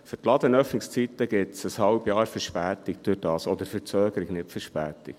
Für die Ladenöffnungszeiten ergibt sich dadurch ein halbes Jahr Verspätung, oder Verzögerung, nicht Verspätung.